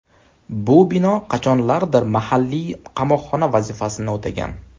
Bu bino qachonlardir mahalliy qamoqxona vazifasini o‘tagan.